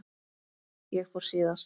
Ég fór síðast.